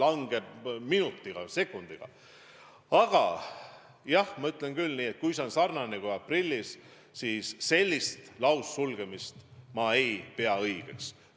Aga seda ütlen küll, et kui uus laine tuleb sarnane kui aprilli oma, siis sellist laussulgemist ma ei pea õigeks.